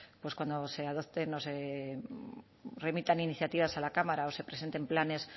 pues cuando se adopten o se remitan iniciativas a la cámara o se presenten planes